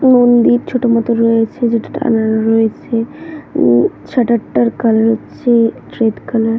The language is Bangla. মন্দির ছোট মতো রয়েছে যেটা টানানো রয়েছে শাটার টার কালার হচ্ছে রেড কালার ।